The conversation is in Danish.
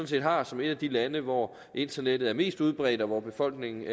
set har som et af de lande hvor internettet er mest udbredt og hvor befolkningen